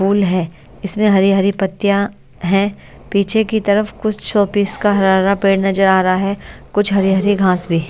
Full है इसमें हरी हरी पत्तियां है पीछे की तरफ कुछ शोपीस का हरा हरा पेड़ नजर आ रहा है कुछ हरी हरी घास भी।